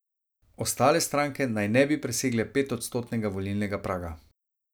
Ostale stranke naj ne bi presegle petodstotnega volilnega praga.